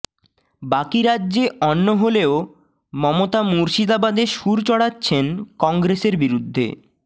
বাকি রাজ্যে অন্য হলেও মমতা মুর্শিদাবাদে সুর চড়াচ্ছেন কংগ্রেসের বিরুদ্ধে